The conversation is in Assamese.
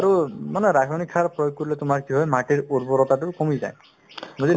আৰু মানে ৰাসয়নিক সাৰ প্ৰয়োগ কৰিলে তোমাৰ কি হয় মাটিৰ উৰ্বৰতাতো কমি যায় বুজিলা